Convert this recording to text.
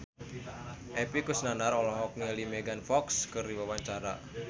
Epy Kusnandar olohok ningali Megan Fox keur diwawancara